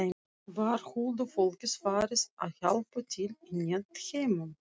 Var huldufólkið farið að hjálpa til í netheimum?